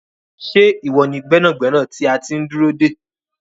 Ṣé iwọ ni gbẹnàgbẹ̀nà tí a ti n dúró dé?